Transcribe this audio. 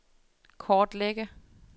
kortlægge